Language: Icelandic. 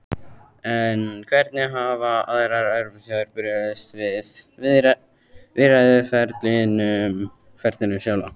En hvernig hafa aðrar Evrópuþjóðir brugðist við í viðræðuferlinu sjálfu?